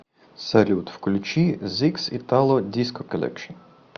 салют включи зикс итало диско коллекшн